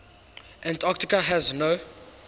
antarctica has no